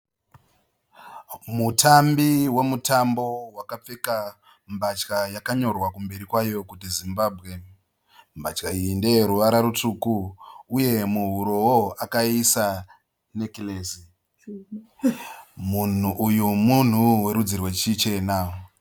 Mutambi womutambo wakapfeka mbatya yakanyorwa kumberi kwayo kuti "Zimbabwe". Mbatya iyi ndeyeruvara rutsvuku uye muhuroo akaísa nekiresi. Munhu uyu munhu werudzi rwechichena.